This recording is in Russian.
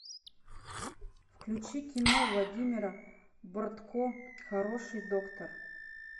включи кино владимира бортко хороший доктор